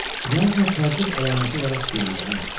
Knyajna təəccüb əlaməti olaraq çiyinlərini atdı.